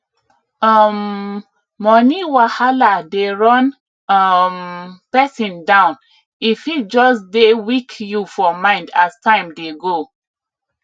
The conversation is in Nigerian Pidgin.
um money wahala dey run um person down e fit just dey weak you for mind as time dey go